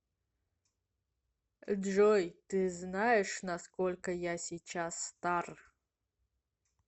джой ты знаешь на сколько я сейчас стар